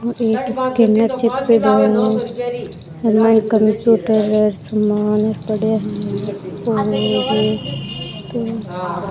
ओ एक स्कैनर चेप्योड़ो है और मायने कंप्यूटर सामान पड़िया है और --